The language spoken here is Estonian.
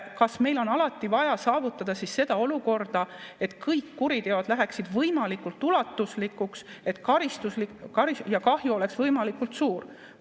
Kas meil on alati vaja saavutada seda olukorda, et kõik kuriteod läheksid võimalikult ulatuslikuks ja kahju oleks võimalikult suur?